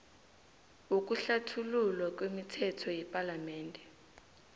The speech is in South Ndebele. wokuhlathululwa kwemithetho yepalamende